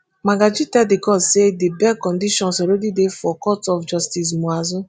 magaji tell di court say di bail conditions already dey for court of justice muazu.